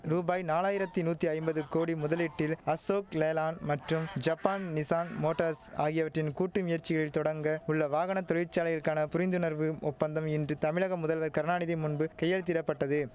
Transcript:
ரூபாய் நாலாயிரத்தி நூத்தி ஐம்பது கோடி முதலீட்டில் அசோக் லேலாண் மற்றும் ஜப்பான் நிசான் மோட்டார்ஸ் ஆகியவற்றின் கூட்டு முயற்சியில் தொடங்க உள்ள வாகன தொழிற்சாலைகளுக்கான புரிந்துணர்வு ஒப்பந்தம் இன்று தமிழக முதல்வர் கருணாநிதி முன்பு கையெழுத்திடப்பட்டதும்